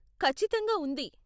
ఖచ్చితంగా ఉంది.